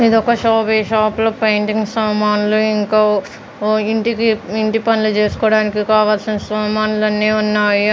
ఇది ఒక షాప్ ఈ షాప్ లో పెయింటింగ్ సామాన్లు ఇంకా ఓ ఇంటికి ఇంటి పనులు చేసుకోడానికి కావలసిన సామాన్లు అన్ని ఉన్నాయి.